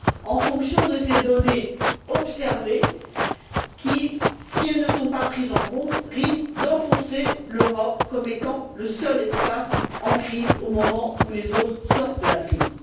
en fonction de ces données observées qui, si elles ne sont pas prises en compte, risquent d'enfoncer l'Europe comme étant le seul espace en crise au moment où les autres sortent de la crise.